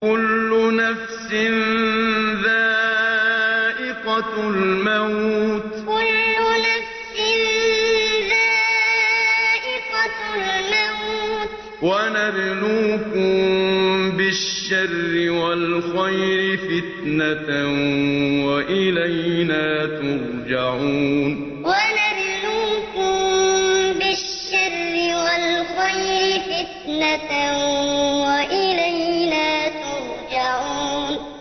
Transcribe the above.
كُلُّ نَفْسٍ ذَائِقَةُ الْمَوْتِ ۗ وَنَبْلُوكُم بِالشَّرِّ وَالْخَيْرِ فِتْنَةً ۖ وَإِلَيْنَا تُرْجَعُونَ كُلُّ نَفْسٍ ذَائِقَةُ الْمَوْتِ ۗ وَنَبْلُوكُم بِالشَّرِّ وَالْخَيْرِ فِتْنَةً ۖ وَإِلَيْنَا تُرْجَعُونَ